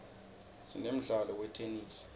sinemdlalo wetenesi